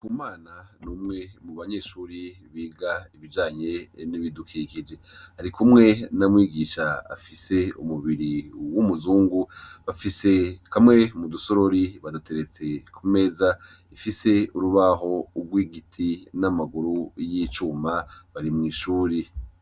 Ndikumana n'umwe mu banyeshure biga ibijanye n'ibidukikije, arikumwe na mwigisha afise umubiri w'umuzungu ,bafise kamwe mu dusorori baduteretse ku meza ifise urubaho rw'igiti n'amaguru y'icuma ,bari mw'ishure.